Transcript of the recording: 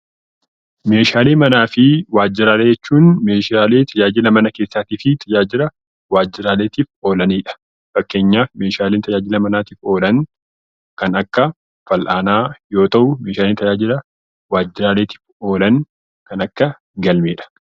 Meeshaalee manaa fi waajjiraalee jechuun meeshaalee tajaajila mana keessaa fi tajaajila waajjiraaleetiif oolanidha. Fakkeenyaaf meeshaaleen tajaajila manaatiif oolan kan Akka fal'aanaa yoo ta'u, meeshaalee tajaajila waajjiraaleetiif oolan kan akka galmeedha.